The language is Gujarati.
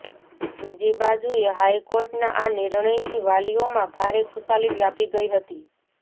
બીજીબાજુએ હાઇકોર્ટના આ નિર્ણયથી વાલીઓમાં ભારે ખુશાલી વ્યાપી ગઇ હતી